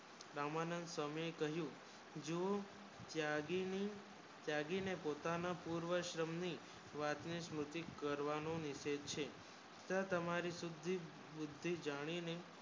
રામાનંદ સ્વામી કહિયુ જુ ત્યાગી ને પોતા ના પૂર્વ શ્રમ ની વાતને સ્મુતિ કરવાનુ તેજ છે તમારી સુધી બુધી જાની ને